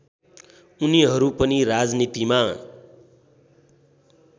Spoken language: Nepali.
उनीहरू पनि राजनीतिमा